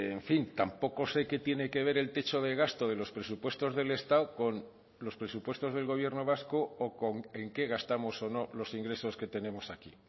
en fin tampoco sé qué tiene que ver el techo de gasto de los presupuestos del estado con los presupuestos del gobierno vasco o en qué gastamos o no los ingresos que tenemos aquí